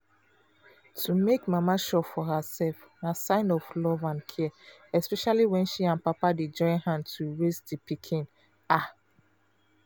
to make mama sure for herself na sign of love and care especially when she and papa dey join hand to raise the pikin ah!